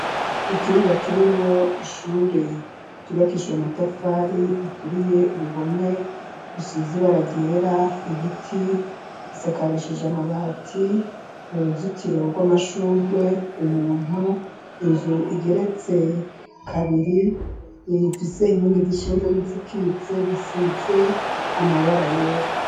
Ikibuga kirimo ishure ryubakishije amatafari aturiye uruhome rusizi baragera ibiti isakarishije amabati uruzikiro rw'amashurwe umuntu inzu igeretse kabiri ifise inkingi zishinze n'izikitse disitse amabara yera.